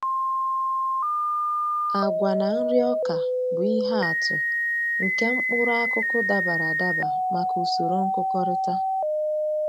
Agwa na nri ọka bụ ihe atụ nke mkpụrụ akụkụ dabara adaba maka usoro nkụkọrịta.